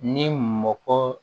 Ni mɔgɔ